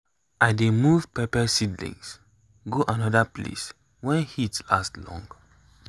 i dey move pepper seedlings go another place when heat last long.